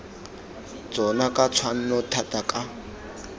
tsona ka tshwanno thata ka